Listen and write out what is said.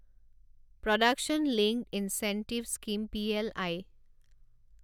production linked incentive scheme P L I